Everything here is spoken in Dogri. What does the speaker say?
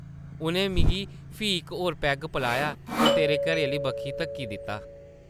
उʼनें मिगी फ्ही इक होर पैग पलाया ते तेरे घरै आह्ली बक्खी धक्की दित्ता ।